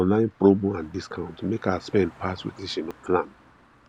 online promo and discount make her spend pass wetin she no plan